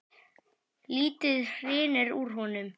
Lítið hrynur úr honum.